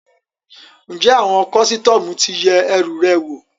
Ǹjẹ́ àwọn kọ́sítọ́mù ti yẹ ẹrù rẹ wò?